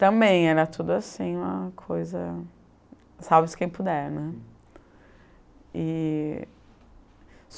Também era tudo assim, uma coisa... salve-se quem puder, né? E